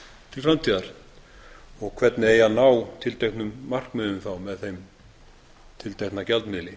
til framtíðar og hvernig eigi að ná tilteknum markmiðum með þeim tiltekna gjaldmiðli